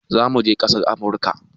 Zamuje ƙasar amurka